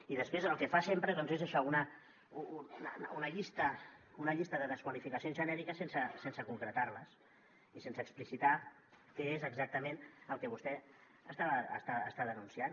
i després el que fa sempre és això una llista una llista de desqualificacions genèriques sense concretar les i sense explicitar què és exactament el que vostè està denunciant